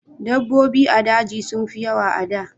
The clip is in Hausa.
Dabobbi a daji sun fi yawa a da